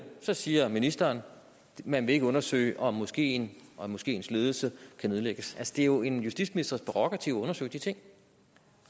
siger ministeren at man ikke vil undersøge om moskeen og moskeens ledelse kan nedlægges altså det er jo en justitsministers prærogativ at undersøge de ting